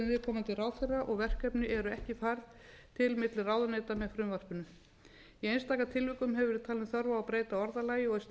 viðkomandi ráðherra og verkefni eru ekki færð til milli ráðuneyta með frumvarpinu í einstaka tilvikum hefur verið talin þörf á að breyta orðalagi og er slíkt þá